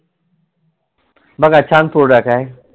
बघा छान product आहे